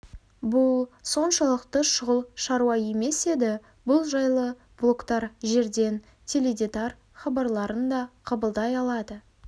бұл соншалықты шұғыл шаруа емес еді бұл жайлы блоктар жерден теледи дар хабарларын да қабылдай алады